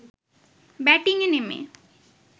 ব্যাটিংয়ে নেমে